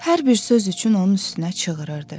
Hər bir söz üçün onun üstünə çığırırdı.